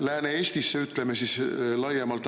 Lääne-Eestisse, ütleme, laiemalt.